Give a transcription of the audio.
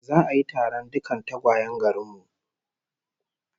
Za'a yi taron dukkan tagwayen garin mu